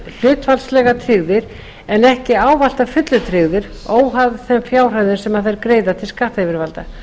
hlutfallslega tryggðir en ekki ávallt að fullu tryggðir óháð þeim fjárhæðum sem þeir greiða til skattyfirvalda